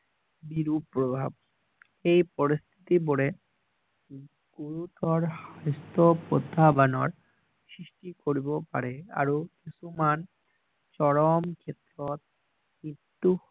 বিৰূপ প্ৰভাৱ এই পৰিস্থিতি বোৰে সৃষ্টি কৰিব পাৰে আৰু কিছুমান চৰম ক্ষেত্ৰত